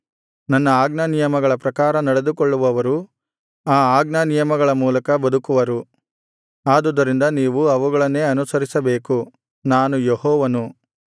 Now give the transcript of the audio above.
ನನ್ನ ಆಜ್ಞಾನಿಯಮಗಳ ಪ್ರಕಾರ ನಡೆದುಕೊಳ್ಳುವವರು ಆ ಆಜ್ಞಾನಿಯಮಗಳ ಮೂಲಕ ಬದುಕುವರು ಆದುದರಿಂದ ನೀವು ಅವುಗಳನ್ನೇ ಅನುಸರಿಸಬೇಕು ನಾನು ಯೆಹೋವನು